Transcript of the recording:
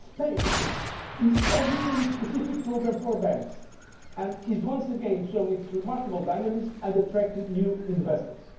Spain is exiting its specific programme for banks and is once again showing its remarkable dynamism and attracting new investors.